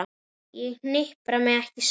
Ég hnipra mig ekki saman.